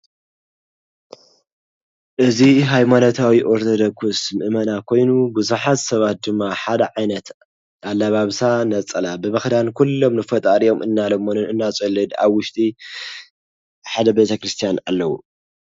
እዚ ሃይማኖታዊ ኦርቶዶክስ ምእመና ኮይኑ ብዙሓት ሰባት ድማ ሓደ ዓይነት ኣለባብሳ ነፀላ ብምኽዳን ኩሎም ንፈጣሪኦም እናለመኑን እናፀለዩን ኣብ ውሽጢ ሓደ ቤተክርስትያን ኣለዉ።